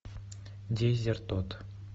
дезертод